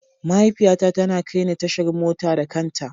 Mahaifiyata tana kai ni tashar mota da kanta.